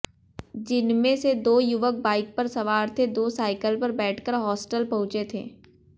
जिनमें से दो युवक बाइक पर सवार थे दो साइकिल पर बैठकर हॉस्टल पहुंचे थे